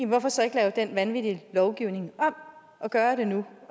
hvorfor så ikke lave den vanvittige lovgivning om og gøre det nu